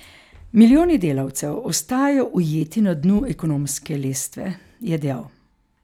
Milijoni delavcev ostajajo ujeti na dnu ekonomske lestve, je dejal.